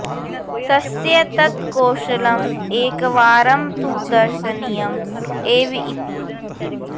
तस्य तत् कौशलम् एकवारं तु दर्शनीयम् एव इति